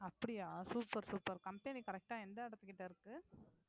அப்படியா super super company correct ஆ எந்த இடத்துக்கிட்ட இருக்கு